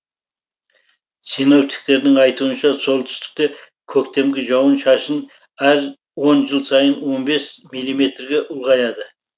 синоптиктердің айтуынша солтүстікте көктемгі жауын шашын әр он жыл сайын он бес миллиметрге ұлғаяды